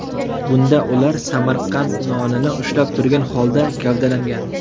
Bunda ular Samarqand nonini ushlab turgan holda gavdalangan.